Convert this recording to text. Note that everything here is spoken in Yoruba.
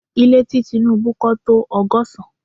Ile ti Tinubu kọ́ to ọgọ́sán